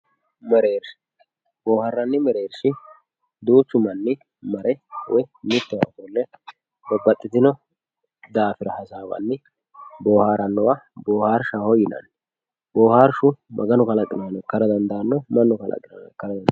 Boharanni merersha boharani merersha duchu manni marre moyi mitowa ofille babaxitino dafira hasawanni boharanowa boharshaho yinanni boharshu maganu kalaqinoha ika dandano manu kalaqinoha ika dandano